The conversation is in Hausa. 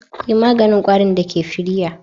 Yi maganin kwarin da ke firiya.